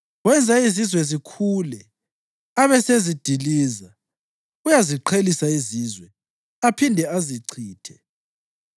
Wenza izizwe zikhule, abesezidiliza; uyaziqhelisa izizwe, aphinde azichithe.